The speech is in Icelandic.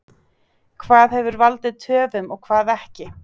Hvað hefur valdið töfum og hvað ekki?